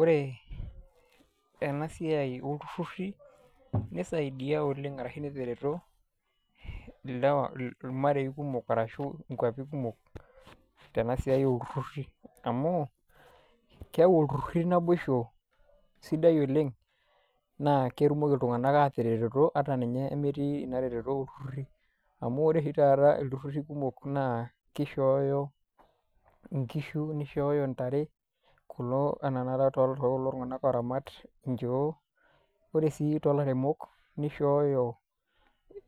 Ore ena siai oltururi nisaidia oleng ashu netaretoirmarei kumok ashu nkwapi kumok tenasiai oltururi ,amu keyau iltururi naboisho, sidai oleng naa ketumoki iltunganak ataretoto ata metii ina retetoto oltururi .Amu ore taata iltururi kumok naa kishooyo nkishu nishooyo ntare ,kulo anaa tenakata tookulo tunganak oramat nchoo. Ore sii tolairemok nishooyo